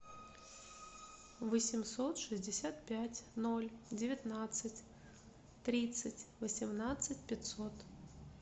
восемьсот шестьдесят пять ноль девятнадцать тридцать восемнадцать пятьсот